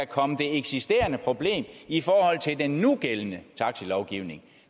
komme det eksisterende problem i forhold til den nugældende taxalovgivning